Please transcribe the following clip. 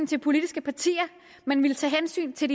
til politiske partier men ville tage hensyn til